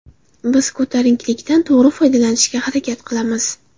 Biz ko‘tarinkilikdan to‘g‘ri foydalanishga harakat qilamiz.